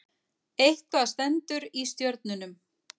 Eitthvað stendur í stjörnunum